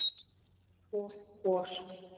og gos.